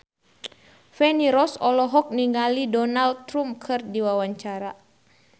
Feni Rose olohok ningali Donald Trump keur diwawancara